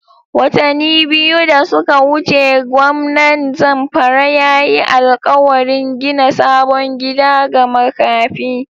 Watani biyu da suka wuce gwamnan Zamfara ya yi alƙawarin gina sabon gida ga makafi.